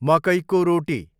मकैको रोटी